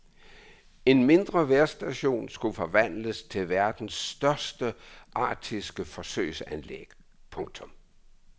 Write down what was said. En mindre vejrstation skulle forvandles til verdens største arktiske forsøgsanlæg. punktum